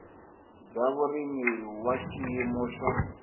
bya vurimi wa xiyimo xa